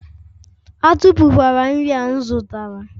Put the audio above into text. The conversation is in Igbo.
Atụfu kwala nri a m zụtara!